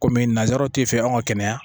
Komi nanzaraw tɛ fɛ anw ka kɛnɛya